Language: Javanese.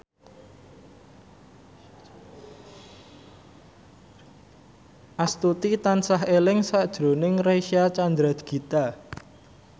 Astuti tansah eling sakjroning Reysa Chandragitta